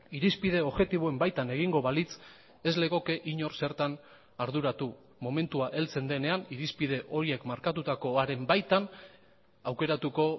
irizpide objektiboen baitan egingo balitz ez legoke inor zertan arduratu momentua heltzen denean irizpide horiek markatutakoaren baitan aukeratuko